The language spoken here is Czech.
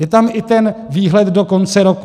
Je tam i ten výhled do konce roku.